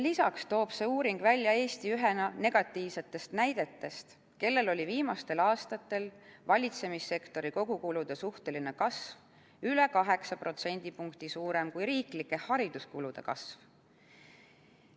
Lisaks toob see uuring välja Eesti ühena negatiivsetest näidetest, kellel oli viimastel aastatel valitsemissektori kogukulude suhteline kasv üle 8 protsendipunkti suurem kui riiklike hariduskulude kasv.